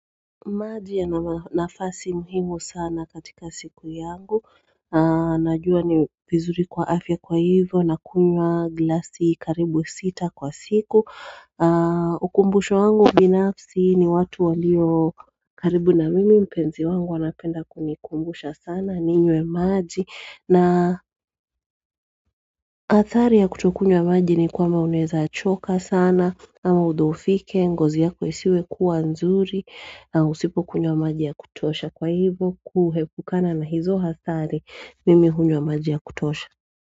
Maji ya nafasi muhimu sana katika siku yangu Najua ni vizuri kwa afya kwa hivyo nakunywa glasi karibu sita kwa siku ukumbusho wangu binafsi ni watu walio karibu na mimi mpenzi wangu anapenda kunikumbusha sana ninywe maji na atari ya kutokunywa maji ni kwamba uneza choka sana ama udofike, ngozi yako isiwe kuwa nzuri Usipo kunywa maji ya kutosha kwa hivo Kuhepukana na hizo hathari Mimi kunywa maji ya kutosha.